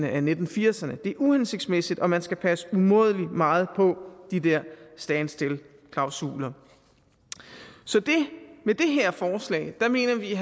af nitten firserne det er uhensigtsmæssigt og man skal passe umådelig meget på de der stand still klausuler så med det her forslag mener vi